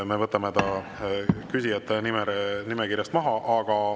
Me võtame ta küsijate nimekirjast maha.